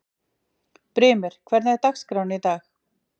Brimir, hvernig er dagskráin í dag?